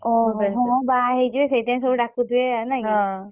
ଓହୋ। ହଁ ହଁ ବହହେଇଯିବେ ସେଇଥି ପାଇଁ ସବୁ ଡାକୁଥିବେ ଆଉ ନାଇଁ କି? ହଁ।